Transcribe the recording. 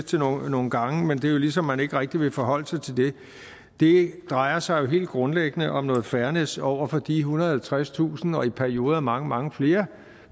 nogle gange men det er ligesom om man ikke rigtig vil forholde sig til det det drejer sig jo helt grundlæggende om noget fairness over for de ethundrede og halvtredstusind og i perioder mange mange flere